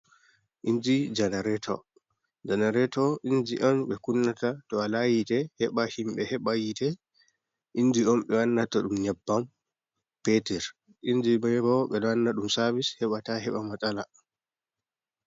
Inji janareto, janareto inji on ɓe kunnata to wala yitte heɓa himɓɓe heɓa yitte, inji on ɓe wannata ɗum nyabbam peteur inji man bo ɓe ɗo wanna ɗum sabis heɓa ta heɓa masala.